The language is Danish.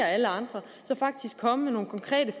alle andre så faktisk komme med nogle konkrete